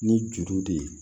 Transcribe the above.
Ni juru de ye